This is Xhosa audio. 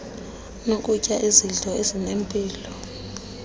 nokutya izidlo ezinempilo